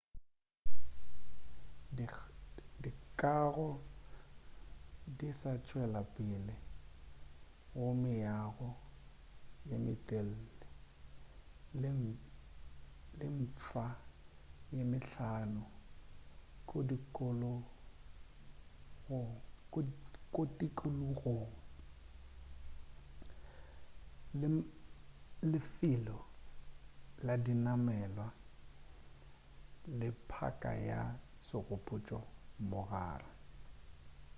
dikago di sa tšwela pele go meago ye metelele ye mfsa ye mehlano ko tikologong le lefelo la dinamelwa le phaka ya segopotšo mogare